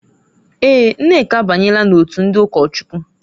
Èè,, Nneka abanyela n'òtù ndị ụkọchukwu.